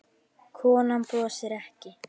Konan brosir ekki.